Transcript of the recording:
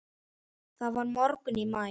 Það var morgunn í maí.